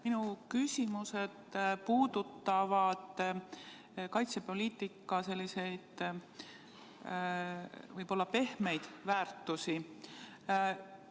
Minu küsimused puudutavad kaitsepoliitika selliseid n-ö pehmeid väärtusi.